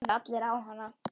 Þeir horfðu allir á hana.